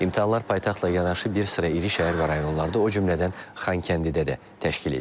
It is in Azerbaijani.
İmtahanlar paytaxtla yanaşı bir sıra iri şəhər və rayonlarda, o cümlədən Xankəndidə də təşkil edilib.